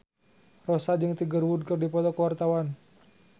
Rossa jeung Tiger Wood keur dipoto ku wartawan